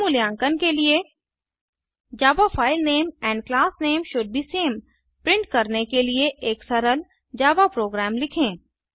स्वमूल्यांकन के लिए Java file name and class name should be same print करने के लिए एक सरल जावा प्रोग्राम लिखें